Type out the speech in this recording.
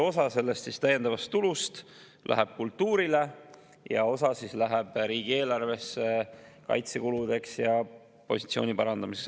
Osa sellest täiendavast tulust läheb kultuurile ja osa läheb riigieelarvesse kaitsekuludeks ja positsiooni parandamiseks.